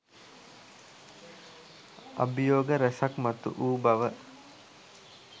අභියෝග රැසක් මතුවූ බව.